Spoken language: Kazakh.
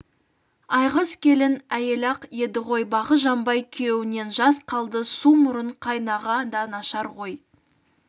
айғыз келін әйел-ақ еді ғой бағы жанбай күйеуінен жас қалды су мұрын қайнаға да нашар ғой